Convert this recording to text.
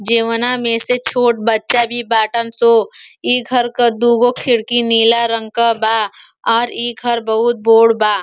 जेवना में से छोट बच्चा भी बाटन सो। इ घर क दूगो खिड़की नीला रंग क बा आर ई घर बहुत बोड बा।